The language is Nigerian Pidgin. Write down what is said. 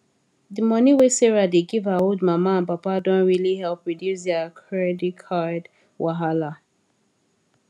the money wey sarah dey give her old mama and papa don really help reduce their credit card wahala